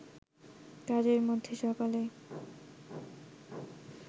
কাজের মধ্যে সকালে